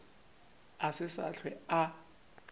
a se sa hlwe a